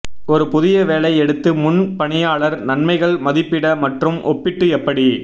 ஒரு புதிய வேலை எடுத்து முன் பணியாளர் நன்மைகள் மதிப்பிட மற்றும் ஒப்பிட்டு எப்படி